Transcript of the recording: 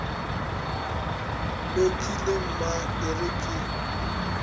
lokile mma e re ke